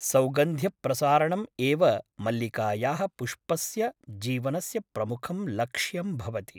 सौगन्ध्यप्रसारणम् एव मल्लिकायाः पुष्पस्य जीवनस्य प्रमुखं लक्ष्यं भवति ।